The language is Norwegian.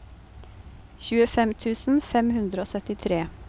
tjuefem tusen fem hundre og syttitre